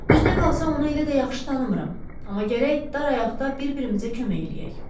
Düzünə qalsa onu elə də yaxşı tanımıram, amma gərək dar ayaqda bir-birimizə kömək eləyək.